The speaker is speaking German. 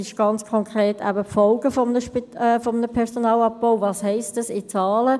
Ganz konkret: Die Folgen eines Personalabbaus – was heisst das in Zahlen?